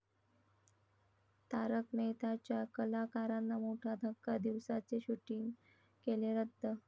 तारक मेहता...'च्या कलाकारांना मोठा धक्का, दिवसाचे शुटिंग केले रद्द